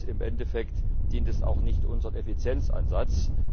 Im Endeffekt dient es auch nicht unserem Effizienzansatz.